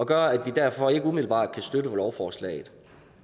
gør at vi derfor ikke umiddelbart kan støtte lovforslaget